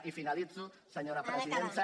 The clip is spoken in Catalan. i finalitzo senyora presidenta